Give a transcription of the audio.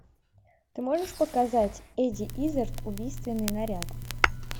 ты можешь показать эдди иззард убийственный наряд